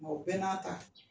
Nka o bɛɛ n'a ta